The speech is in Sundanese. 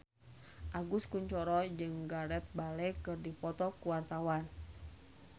Agus Kuncoro jeung Gareth Bale keur dipoto ku wartawan